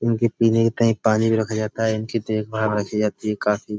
इनके पीने का कहीं पानी भी रखा जाता है इनकी देखभाल रखी जाती है काफी।